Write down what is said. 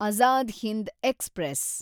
Azad Hind express